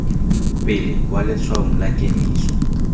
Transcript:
pele kwa letshwaong la kemiso